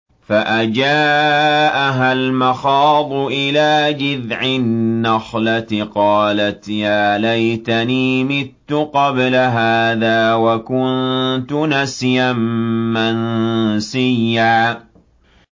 فَأَجَاءَهَا الْمَخَاضُ إِلَىٰ جِذْعِ النَّخْلَةِ قَالَتْ يَا لَيْتَنِي مِتُّ قَبْلَ هَٰذَا وَكُنتُ نَسْيًا مَّنسِيًّا